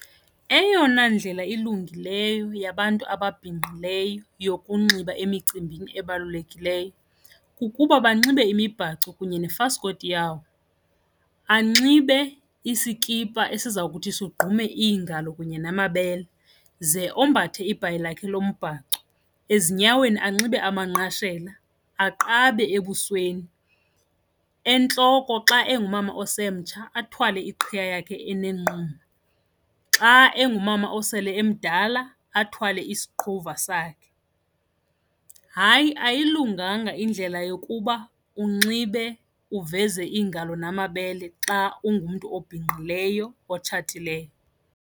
Eyona ndlela ilungileyo yabantu ababhinqileyo yokunxiba emicimbini ebalulekileyo kukuba banxibe imibhaco kunye nefasikoti yawo. Anxibe isikipha esiza kuthi sigqume iingalo kunye namabele ze ombathe ibhayi lakhe lombhaco, ezinyaweni anxibe amanqashela aqabe ebusweni. Entloko, xa ongumama osemtsha athwale iqhiya yakhe enenqumo, xa ongumama osele emdala athwale isiqhuva sakhe. Hayi, ayilunganga indlela yokuba unxibe uveze iingalo namabele xa ungumntu obhinqileyo otshatileyo.